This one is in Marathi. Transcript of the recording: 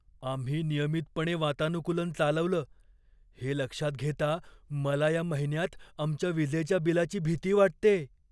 आम्ही नियमितपणे वातानुकूलन चालवलं हे लक्षात घेता मला या महिन्यात आमच्या विजेच्या बिलाची भीती वाटतेय.